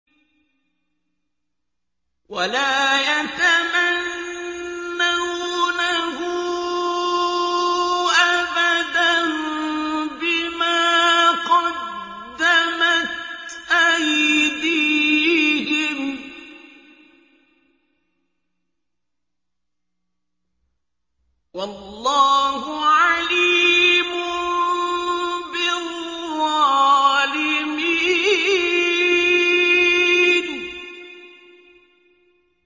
وَلَا يَتَمَنَّوْنَهُ أَبَدًا بِمَا قَدَّمَتْ أَيْدِيهِمْ ۚ وَاللَّهُ عَلِيمٌ بِالظَّالِمِينَ